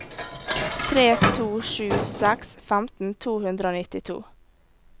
tre to sju seks femten to hundre og nittito